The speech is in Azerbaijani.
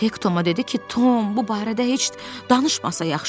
Hek Toma dedi ki, Tom, bu barədə heç danışmasa yaxşıdır.